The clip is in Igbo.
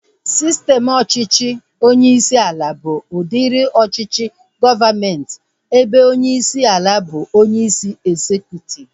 Sistem ọchịchị onyeisi ala bụ udiri ọchịchị gọọmenti ebe onyeisi ala bụ onyeisi ezekutiv